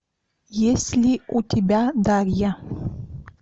есть ли у тебя дарья